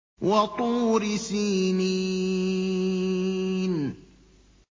وَطُورِ سِينِينَ